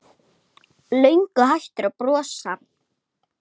Löngu hættur að brosa.